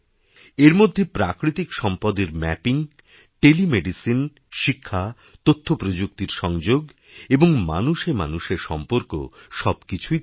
এর মধ্যে প্রাকৃতিক সম্পদের ম্যাপিং টেলিমেডিসিন শিক্ষা তথ্যপ্রযুক্তির সংযোগএবং মানুষে মানুষে সম্পর্ক সবকিছুই থাকবে